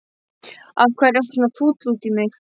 Af hverju ertu svona fúll út í mig?